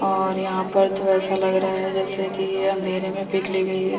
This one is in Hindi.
और यहाँ पर तो ऐसा लग रहा जैसा कि ये अंधेरे में पिक ली गई है।